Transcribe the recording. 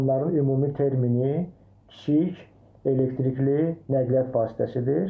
Onların ümumi termini kiçik elektrikli nəqliyyat vasitəsidir.